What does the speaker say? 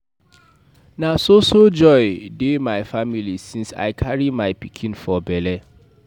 Na so so joy dey my family since I carry my pikin for bele.